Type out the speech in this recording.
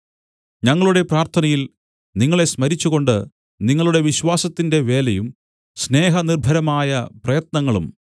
ഞങ്ങളുടെ പ്രാർത്ഥനയിൽ നിങ്ങളെ സ്മരിച്ചുകൊണ്ട് നിങ്ങളുടെ വിശ്വാസത്തിന്റെ വേലയും സ്നേഹനിർഭരമായ പ്രയത്നങ്ങളും